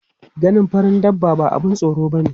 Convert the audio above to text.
Ganin farin dabba ba abun tsoro bane.